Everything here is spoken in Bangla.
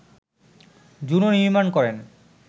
জুনো নির্মাণ করেন